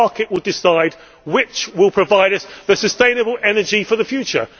The market will decide which will provide us with the sustainable energy for the future.